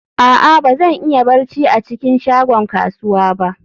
a'a, ba zan iya barci a cikin shagon kasuwa ba